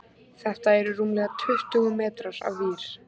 Þetta eru rúmlega tuttugu metrar af vír.